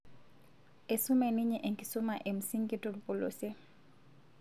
Eisume ninye enkusuma e msingi tolpolosie